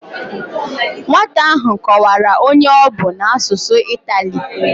Nwata ahụ kọwara onye ọ bụ a n'asụsụ itali